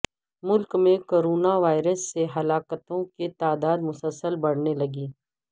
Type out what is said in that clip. ملک میں corona virus سے ہلاکتوں کی تعداد مسلسل بڑھنے لگی